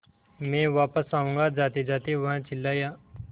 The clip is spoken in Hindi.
मैं वापस आऊँगा जातेजाते वह चिल्लाया